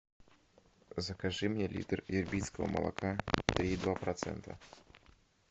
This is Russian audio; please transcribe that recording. закажи мне литр ирбитского молока три и два процента